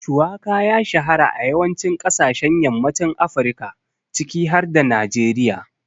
Shuwaka ya shahara a yawancin kasashen yammacin Afirka ciki har da Najeriya.